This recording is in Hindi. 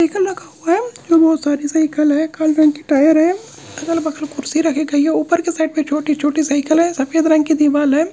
इक लखा हवा साइकल रखा हुआ है जो बहुत सारी साइकल है काले रंग की टायर है अगल-बगल कुर्सी रखी गई है ऊपर के साइड पे छोटी-छोटी साइकल है सफेद रंग की दीवाल है।